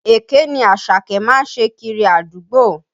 Èké ni Àṣàkẹ́ má ń ṣe kiri àdúgbò